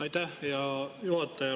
Aitäh, hea juhataja!